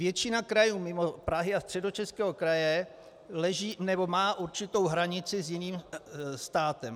Většina krajů mimo Prahy a Středočeského kraje má určitou hranici s jiným státem.